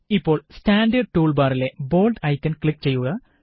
ഇപ്പോള് standard tool ബാറിലെ bold icon click ചെയ്യുക